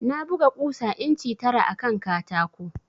Na buga ƙusa inci tara akan katako